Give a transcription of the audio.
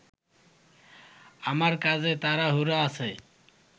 আমার কাজে তাড়াহুড়া আছে